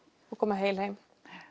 og koma heil heim